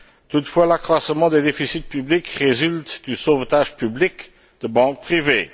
Toutefois, l'accroissement des déficits publics résulte du sauvetage public de banques privées.